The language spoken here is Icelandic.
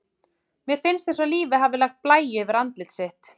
Mér finnst eins og lífið hafi lagt blæju yfir andlit sitt.